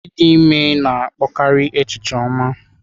Ịdị ime na-akpọkarị echiche ọma.